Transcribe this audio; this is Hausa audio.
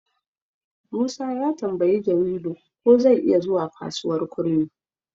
Musa ya tambayi Jamilu ko zai iya zuwa kasuwar kurmi.